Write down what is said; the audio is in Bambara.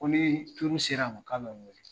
Ko ni turu sera ma k'a be n wele.